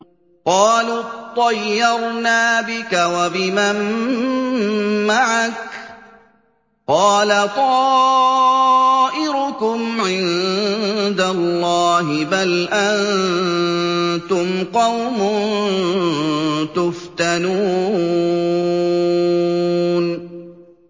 قَالُوا اطَّيَّرْنَا بِكَ وَبِمَن مَّعَكَ ۚ قَالَ طَائِرُكُمْ عِندَ اللَّهِ ۖ بَلْ أَنتُمْ قَوْمٌ تُفْتَنُونَ